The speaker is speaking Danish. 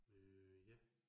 Øh ja